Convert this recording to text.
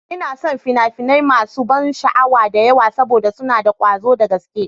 Ina son fina-finai masu ban sha'awa da yawa saboda suna da ƙwazo da gaske.